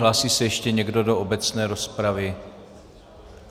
Hlásí se ještě někdo do obecné rozpravy?